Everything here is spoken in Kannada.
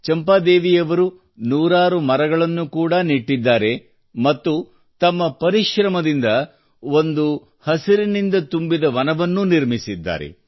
ಚಂಪಾದೇವಿಯವರು ನೂರಾರು ಮರಗಳನ್ನು ಕೂಡಾ ನೆಟ್ಟಿದ್ದಾರೆ ಮತ್ತು ತಮ್ಮ ಪರಿಶ್ರಮದಿಂದ ಹಸಿರಿನಿಂದ ತುಂಬಿದ ಒಂದುವನವನ್ನು ನಿರ್ಮಿಸಿದ್ದಾರೆ